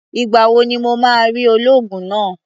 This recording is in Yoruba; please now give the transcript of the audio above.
Ìgbà wo ni mo máa rí olóògùn náà?